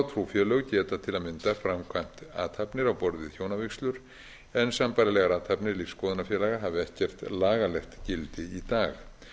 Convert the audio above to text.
trúfélög geta til að mynda framkvæmt athafnir á borð við hjónavígslur en sambærilegar athafnir lífsskoðunarfélaga hafa ekkert lagalegt gildi í dag